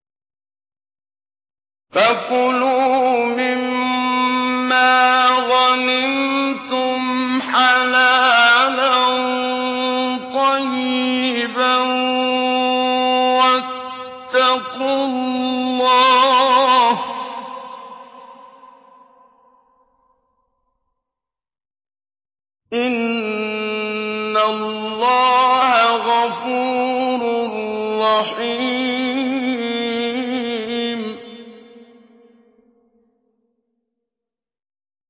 فَكُلُوا مِمَّا غَنِمْتُمْ حَلَالًا طَيِّبًا ۚ وَاتَّقُوا اللَّهَ ۚ إِنَّ اللَّهَ غَفُورٌ رَّحِيمٌ